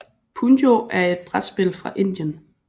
Punjo er et brætspil fra Indien